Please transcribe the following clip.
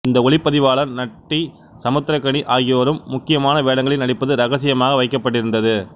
இந்திய ஒளிப்பதிவாளர் நட்டி சமுத்திரக்கனி ஆகியோரும் முக்கியமான வேடங்களில் நடிப்பது ரகசியமாக வைக்கபட்டிருந்தது